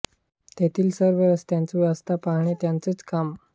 तेथील सर्व रस्त्यांची व्यवस्था पाहणे हे त्यांचेच काम